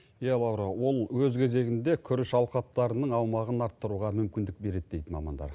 иә лаура ол өз кезегінде күріш алқаптарының аумағын арттыруға мүмкіндік береді дейді мамандар